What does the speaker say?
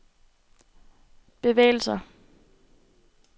bevægelser